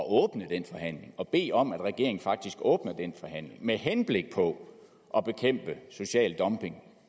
åbne den forhandling og bede om at regeringen faktisk åbner den forhandling med henblik på at bekæmpe social dumping